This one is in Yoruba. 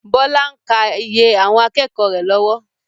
Bọlá ń kaa iye àwọn akẹ́kọ̀ọ́ rẹ lọ́wọ́.